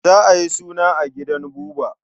Za a yi suna a gidan Buba.